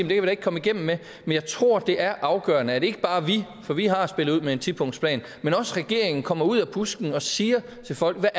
vi da ikke komme igennem med men jeg tror det er afgørende at ikke bare vi for vi har spillet ud med en tipunktsplan men også regeringen kommer ud af busken og siger til folk hvad